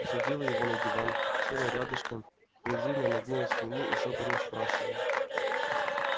усадила его на диван села рядышком призывно нагнулась к нему и шёпотом спрашивает